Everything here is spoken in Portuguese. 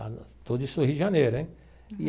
Tudo isso no Rio de Janeiro, hein?